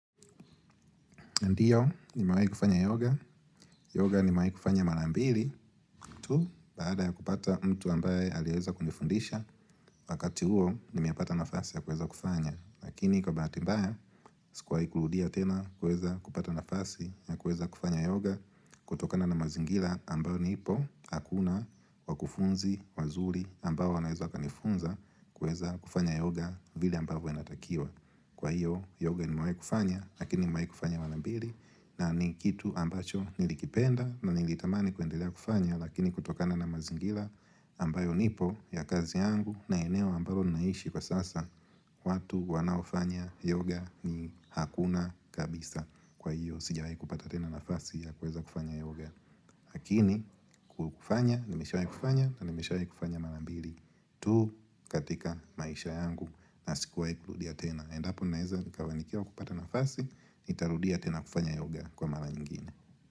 Ndiyo ni mawe kufanya yoga. Yoga ni mawe kufanya mara mbili tu baada ya kupata mtu ambaye aliyeweza kujifundisha wakati huo nimeapata nafasi ya kuweza kufanya. Lakini kwa bahati mbaya sikuwahi kurudia tena kuweza kupata nafasi ya kuweza kufanya yoga kutokana na mazingira ambayo nipo hakuna wakufunzi wazuri ambao wanaweza wakanifunza kuweza kufanya yoga vile ambavyo inatakiwa. Kwa hiyo yoga nimewahi kufanya lakini nimewahi kufanya mara mbili na ni kitu ambacho nilikipenda na nilitamani kuendelea kufanya lakini kutokana na mazingira ambayo nipo ya kazi yangu na eneo ambalo naishi kwa sasa watu wanaofanya yoga ni hakuna kabisa. Kwa hiyo, sijawahi kupata tena nafasi ya kuweza kufanya yoga. Lakini, kwa kufanya, nimeshawahi kufanya na nimeshawahi kufanya mara mbili tu katika maisha yangu na sikuwahi kurudia tena. Endapo naeza nikafanikiwa kupata nafasi nitarudia tena kufanya yoga kwa mara nyingine.